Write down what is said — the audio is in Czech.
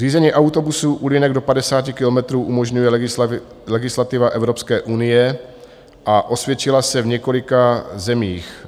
Řízení autobusů u linek do 50 kilometrů umožňuje legislativa Evropské unie a osvědčila se v několika zemích.